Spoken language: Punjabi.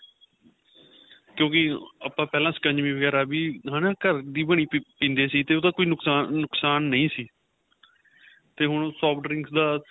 ਕਿਉਂਕਿ ਪਹਿਲਾਂ ਆਪਾਂ ਸਿਕੰਜਵੀ ਵਗੇਰਾ ਵੀ ਹੈਨਾ ਘਰ ਦੀ ਬਣੀ ਵੀ ਪੀਂਦੇ ਸੀ ਤੇ ਉਹਦਾ ਕੋਈ ਨੁਕਸ਼ਾਨ ਨਹੀਂ ਸੀ ਤੇ ਹੁਣ cold drink ਦਾ